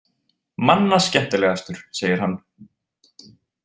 Manna skemmtilegastur, segir hann.